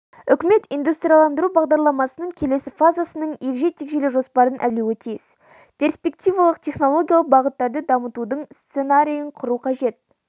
үкімет индустрияландыру бағдарламасының келесі фазасының егжей-тегжейлі жоспарын әзірлеуі тиіс перспективалық технологиялық бағыттарды дамытудың сценарийі қажет бұл